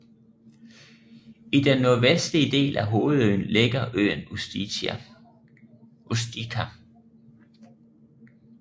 I den nordvestlige del af hovedøen ligger øen Ustica